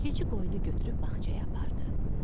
Keçi qoyunu götürüb bağçaya apardı.